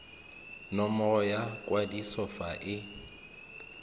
nomoro ya kwadiso fa e